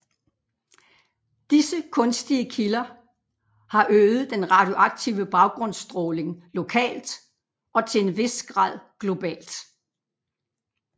Disse kunstige kilder har øget den radioaktive baggrundsstråling lokalt og til en vis grad globalt